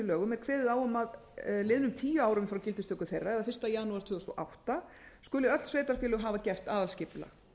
lögum er kveðið á um að liðnum tíu árum frá gildistöku þeirra laga eða fyrsta janúar tvö þúsund og átta skuli öll sveitarfélög hafa gert aðalskipulag